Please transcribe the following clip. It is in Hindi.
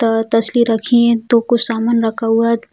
त तसली रखी हैं दो कुछ सामान रखा हुआ है।